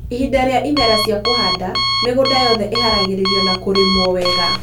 ihinda rĩa ĩmera cĩa kũhanda, mĩgũnda yothe ĩharagĩrio na kũrĩmwo wega